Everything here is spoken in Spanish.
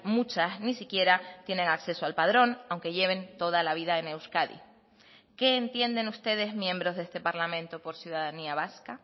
muchas ni siquiera tienen acceso al padrón aunque lleven toda la vida en euskadi qué entienden ustedes miembros de este parlamento por ciudadanía vasca